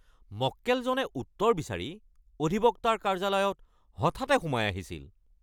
মক্কেলজনে উত্তৰ বিচাৰি অধিবক্তাৰ কাৰ্য্যালয়ত হঠাতে সোমাই আহিছিল!